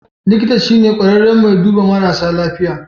Likita shine kwararren mai duɓa marasa lafiya.